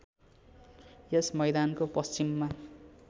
यस मैदानको पश्चिममा